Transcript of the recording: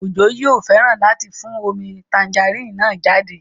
Ojo yóò fẹ́ràn láti fún omi tangerine náà jáde